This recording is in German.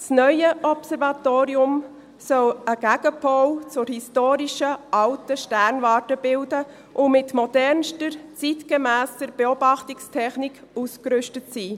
Das neue Observatorium soll einen Gegenpol zur historischen «alten» Sternwarte bilden und mit modernster, zeitgemässer Beobachtungstechnik ausgerüstet sein.